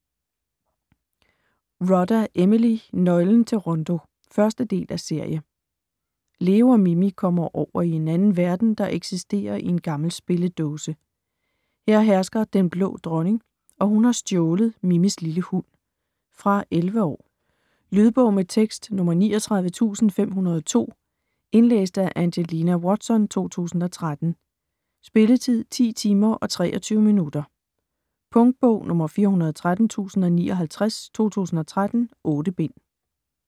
Rodda, Emily: Nøglen til Rondo 1. del af serie. Leo og Mimi kommer over i en anden verden, der eksisterer i en gammel spilledåse. Her hersker Den Blå Dronning, og hun har stjålet Mimis lille hund. Fra 11 år. Lydbog med tekst 39502 Indlæst af Angelina Watson, 2013. Spilletid: 10 timer, 23 minutter. Punktbog 413059 2013. 8 bind.